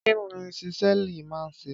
Kí ni Ṣísẹ́ẹ̀lì máa ń ṣe?